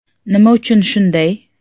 “Nima uchun shunday?